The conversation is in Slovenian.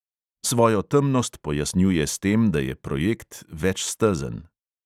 Svojo temnost pojasnjuje s tem, da je projekt večstezen.